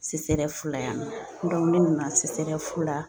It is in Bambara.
CCREF la yan nɔ ne nana CCREF la